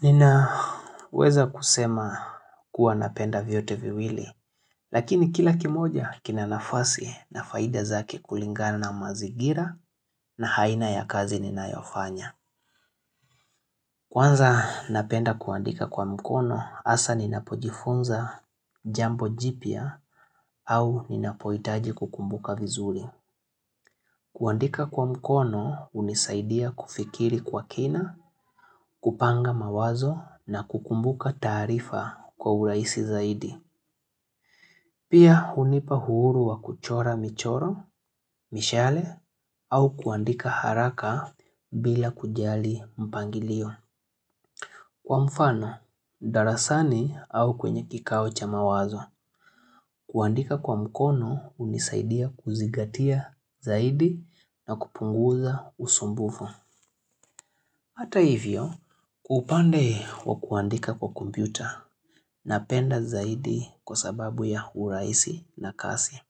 Nina weza kusema kuwa napenda vyote viwili, lakini kila kimoja kinanafasi na faida zake kulingana na mazigira na haina ya kazi ninayofanya. Kwanza napenda kuandika kwa mkono, asa ninapojifunza jambo jipya au ninapoitaji kukumbuka vizuri. Kuandika kwa mkono unisaidia kufikiri kwa kina, kupanga mawazo na kukumbuka taarifa kwa uraisi zaidi. Pia hunipa uhuru wa kuchora michoro, mishale au kuandika haraka bila kujali mpangilio. Kwa mfano, darasani au kwenye kikao cha mawazo. Kuandika kwa mkono unisaidia kuzigatia zaidi na kupunguza usumbufu. Hata hivyo, kwa upande wa kuandika kwa kompyuta na penda zaidi kwa sababu ya uraisi na kasi.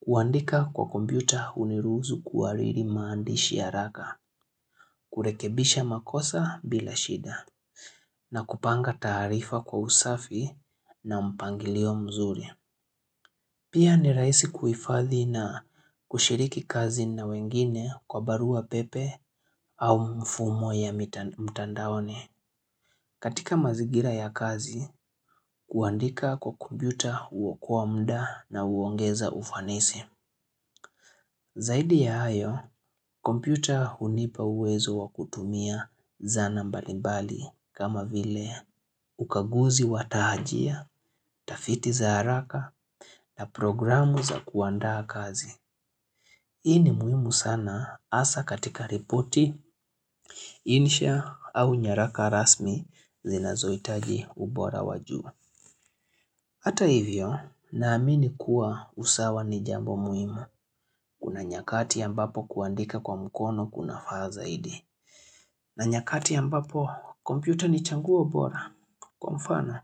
Kuandika kwa kompyuta uniruusu kuhariri maandishi haraka, kurekebisha makosa bila shida, na kupanga taarifa kwa usafi na mpangilio mzuri. Pia ni raisi kuhifadhi na kushiriki kazi na wengine kwa barua pepe au mfumo ya mtandaone. Katika mazigira ya kazi, kuandika kwa kompyuta uokoa mda na uongeza ufanisi. Zaidi ya hayo, kompyuta hunipa uwezo wakutumia zana mbalimbali kama vile ukaguzi watahajia, tafiti za haraka na programu za kuandaa kazi. Hii ni muhimu sana asa katika ripoti, insha au nyaraka rasmi zinazoitaji ubora wajuu. Hata hivyo, naamini kuwa usawa ni jambo muhimu. Kuna nyakati ambapo kuandika kwa mkono kunafaa zaidi. Na nyakati ambapo, kompyuta ni changuo bora. Kwa mfano,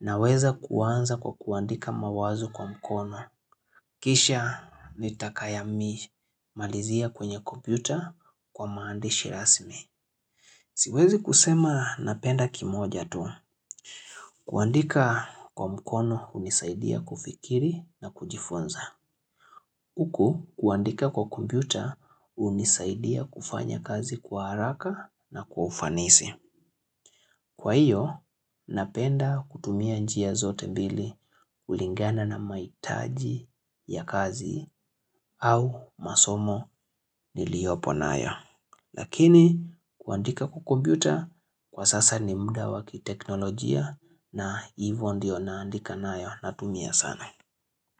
naweza kuanza kwa kuandika mawazo kwa mkono. Kisha nitakaya mi malizia kwenye kompyuta kwa maandishi rasmi. Siwezi kusema napenda kimoja tu. Kuandika kwa mkono unisaidia kufikiri na kujifonza. Uku kuandika kwa kompyuta unisaidia kufanya kazi kwa haraka na kwa ufanisi. Kwa hiyo, napenda kutumia njia zote mbili kulingana na maitaji ya kazi au masomo niliopo nayo. Lakini, kuandika kukombiuta, kwa sasa ni muda waki teknolojia na hivyo ndio naandika nayo na tumia sana.